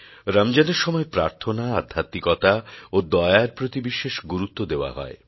রমজানের সময় প্রার্থনা আধ্যাত্মিকতা ও দয়া র প্রতি বিশেষ গুরুত্ব দেওয়া হয়